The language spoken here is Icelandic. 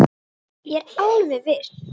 Ég er alveg viss.